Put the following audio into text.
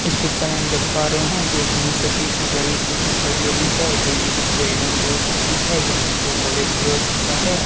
इस पिक्चर में हम देख पा रहे हैं कि एक यूनिवर्सिटी सी बड़ी सी दिखाई दे रही है जोकी कुछ बिल्डिंग भी हो सकती है या फिर कोई कॉलेज भी हो सकता है।